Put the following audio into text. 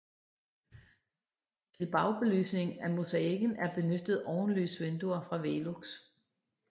Til bagbelysning af mosaikken er benyttet ovenlysvinduer fra Velux